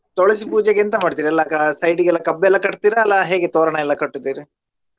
ತುಳಸಿ ಪೂಜೆಗೆ ಎಂತ ಮಾಡ್ತೀರಿ ಎಲ್ಲಾ side ಗೆಲ್ಲಾ ಕಬ್ಬೆಲ್ಲಾ ಕಟ್ತೀರಾ ಅಲ್ಲಾ ಹೇಗೆ ತೋರಣ ಎಲ್ಲ ಕಟ್ಟುತ್ತೀರಿ?